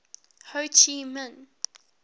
ho chi minh